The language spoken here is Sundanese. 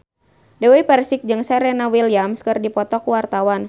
Dewi Persik jeung Serena Williams keur dipoto ku wartawan